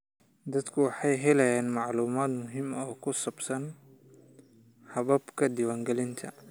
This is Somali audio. Dadku waxay helayaan macluumaad muhiim ah oo ku saabsan hababka diiwaangelinta.